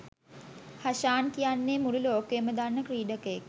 හෂාන් කියන්නේ මුළු ලෝකයම දන්න ක්‍රීඩකයෙක්.